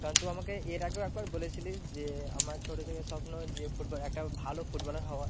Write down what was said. কারণ তুই আমাকে এর আগেও একবার বলেছিলিস যে আমার ছোটো থেকে স্বপ্ন যে football একটা ভালো footballer হওয়া